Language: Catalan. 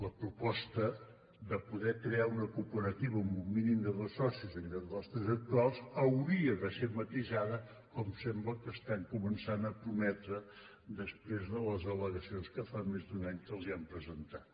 la proposta de poder crear una cooperativa amb un mínim de dos socis en lloc dels tres actuals hauria de ser matisada com sembla que estan començant a prometre després de les al·legacions que fa més d’un any que els han presentat